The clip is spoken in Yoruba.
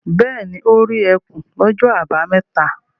Bẹ́ẹ̀ ni, ó rí ẹkùn lọ́jọ́ àbámẹ́ta.